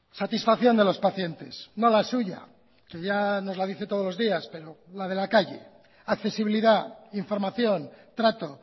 satisfacción de los pacientes no la suya que ya nos la dice todos los días pero la de la calle accesibilidad información trato